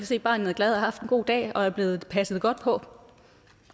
se at barnet er glad og har haft en god dag og er blevet passet godt på